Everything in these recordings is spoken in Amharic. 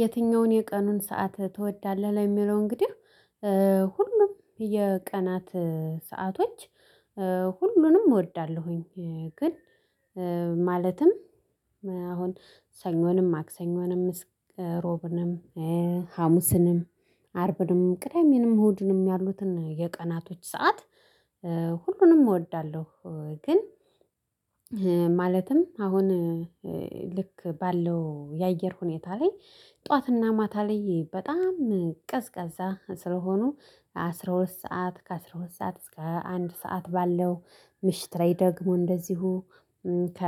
የትኛውን የቀኑን ሰዓት ትወዳለህ? ለሚለው እንግዲህ ሁሉም የቀናት ሰአቶች ሁሉንም እወዳለሁኝ ግን ማለትም አሁን ሰኞንም ማክሰኞንም ምስክ ሮብንም ሀሙስንም አርብንም ቅዳሜንም እሁድንም ያሉትን የቀናቶች ሰዓት ሁሉንም እወዳለሁ። ግን ማለትም አሁን ልክ ባለው የአየር ሁኔታ ላይ ጠዋትና ማታ ላይ በጣም ቀዝቃዛ ስለሆኑ ከአስራ ሁለት ሰዓት ከአስራ ሁለት ሰዓት እስከ አንድ ሰዓት ባለው ምሽት ላይ ደግሞ እንደዚሁ ከ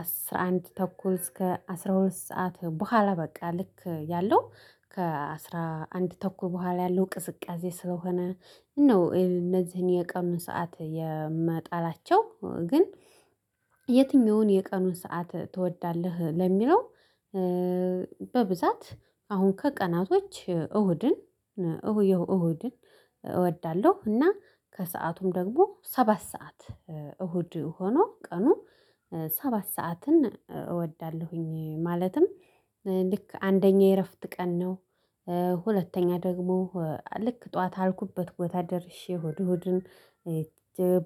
አስራ አንድ ተኩል እስከ አስራ ሁለት ሰዓት በኋላ በቃ ልክ ያለው ከአስራ አንድ ተኩል በኋላ ያለው ቅዝቃዜ ስለሆነ ነው እንደዚህ የቀኑ ሰዓት የምጠላቸው። ግን የትኛውን የቀኑን ሰዓት ትወዳለህ? ለሚለው በብዛት አሁን ከቀናቶች እሁድን እሁድን እወዳለሁ። እና ከሰአቱም ደግሞ ሰባት ሰዓት እሁድ ሆኖ ቀኑ ሰባት ሰዓትን እወዳለሁኝ። ማለትም ልክ አንደኛ የእረፍት ቀን ነው። ሁለተኛ ደግሞ ልክ ጠዋት አልኩበት ቦታ ደርሼ እሁድ እሁድን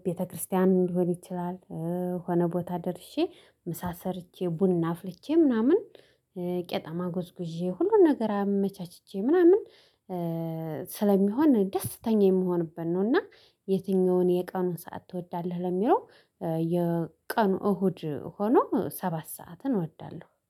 ቤተክርስቲያን ሊሆን ይችላል። ሆነ ቦታ ደርሼ ምሳ ሰርቼ ቡና አፍልቼ ምናምን ቄጤማ ጉዝጉዤ ሁሉን ነገር አመቻችቼ ምናምን ስለሚሆን ደስተኛ የምሆንበት ነው። እና የትኛውን የቀኑን ሰዓት ትወዳለህ? ለሚለው የቀኑ እሁድ ሆኖ ሰባት ሰዓትን እወዳለሁ